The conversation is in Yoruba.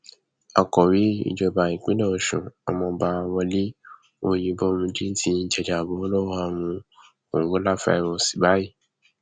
akọwé ìjọba ìpínlẹ ọṣun ọmọọba wọlé ọyẹbómíjì ti jàjàbọ lọwọ àrùn kòǹgóláfàírọọsì báyìí